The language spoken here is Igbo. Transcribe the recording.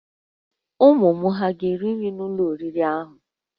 Ụmụ m hà ga-eri nri n'ụlọ oriri ahụ?